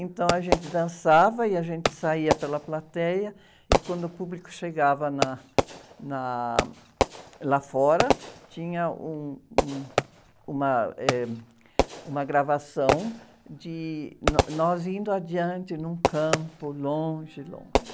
Então, a gente dançava e a gente saía pela plateia e, quando o público chegava na, na, lá fora, tinha um, um, uma, eh, uma gravação de nós indo adiante num campo, longe, longe.